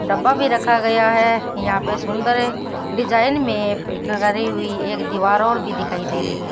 डब्बा भी रखा गया है यहां पे सुंदर डिजाइन में एक दीवार और भी दिखाई दे रही है।